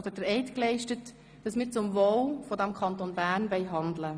Wir haben gelobt oder geschworen, zum Wohl des Kantons Bern zu handeln.